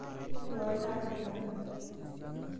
Inuaa oltaa tiang'.